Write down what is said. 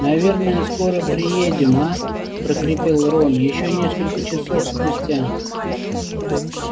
наверное скоро приедем а прохрипел рон ещё несколько часов спустя